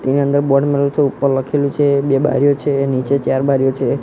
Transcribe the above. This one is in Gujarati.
તેની અંદર બોર્ડ મારેલું છે ઉપર લખેલું છે બે બારીઓ છે નીચે ચાર બારીઓ છે.